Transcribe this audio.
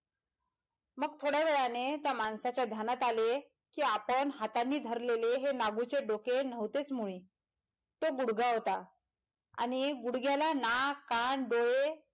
मग थोड्या वेळाने त्यामाणसाच्या ध्यानात आले कि आपण हातानी धरलेलं नागूचे डोके नव्हतेच मुळी तो गुढगा होता आणि गुढग्याला नाक कान डोळे.